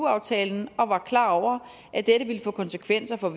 aftalen og var klar over at dette ville få konsekvenser for